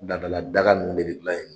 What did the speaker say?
Ladala daga nunnu de de gilan yen